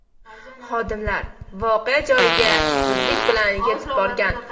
Xodimlar voqea joyiga zudlik bilan yetib borgan.